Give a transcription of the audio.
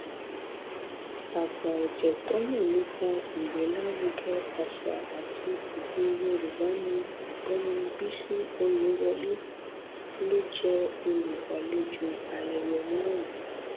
àgbàọjẹ tó mọ nípa ìgbélárugẹ àṣà àti èdè yorùbá nni ọgbẹni bisi ọyẹwọlẹ ló jẹ olùgbàlejò ayẹyẹ náà